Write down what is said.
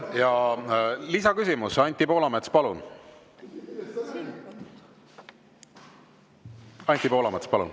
Ja lisaküsimus, Anti Poolamets, palun!